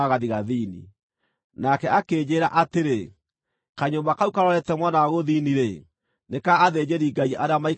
Nake akĩnjĩĩra atĩrĩ, “Kanyũmba kau karorete mwena wa gũthini-rĩ, nĩ ka athĩnjĩri-Ngai arĩa maikaragia hekarũ,